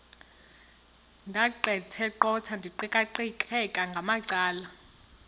ndaqetheqotha ndiqikaqikeka ngamacala